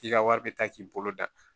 K'i ka wari bɛ taa k'i bolo da